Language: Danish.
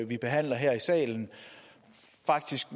vi behandler her i salen faktisk